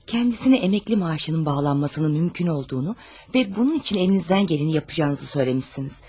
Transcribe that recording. Kəndisinə əməkli maaşının bağlanmasının mümkün olduğunu və bunun üçün əlinizdən gələni yapacağınızı söyləmisiniz.